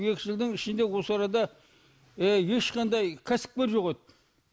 екі жылдың ішінде осы арада ешқандай кәсіпкер жоқ еді